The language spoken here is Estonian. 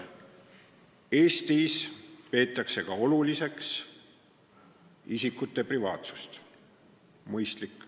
Eestis peetakse oluliseks ka isikute privaatsust, mis on mõistlik.